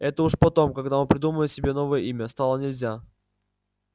это уж потом когда он придумал себе новое имя стало нельзя